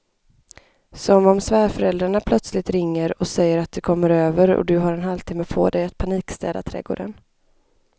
Som om svärföräldrarna plötsligt ringer och säger att de kommer över och du har en halvtimme på dig att panikstäda trädgården.